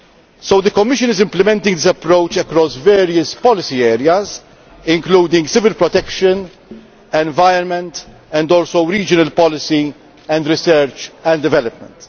hit. So the Commission is implementing the approach across various policy areas, including civil protection, the environment and also regional policy and research and development.